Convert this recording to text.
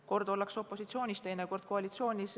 Kord ollakse opositsioonis, teinekord koalitsioonis.